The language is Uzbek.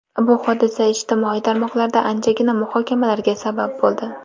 Bu hodisa ijtimoiy tarmoqlarda anchagina muhokamalarga sabab bo‘ldi.